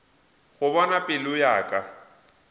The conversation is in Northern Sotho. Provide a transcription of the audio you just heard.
go bona pelo ya ka